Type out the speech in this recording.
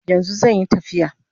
Yanzu zanyi tafiya